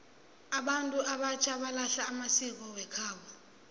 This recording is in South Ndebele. abantu abatjha balahla amasiko wekhabo